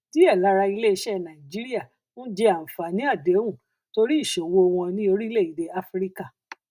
díẹ lára iléiṣẹ nàìjíríà ń jẹ àǹfààní àdéhùn torí ìṣòwò wọn ní orílẹèdè áfíríkà